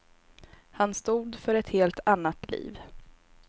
Han stod för ett helt annat liv.